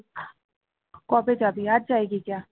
কবে যাবি